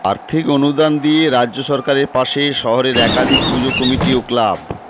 আর্থিক অনুদান দিয়ে রাজ্য সরকারের পাশে শহরের একাধিক পুজো কমিটি ও ক্লাব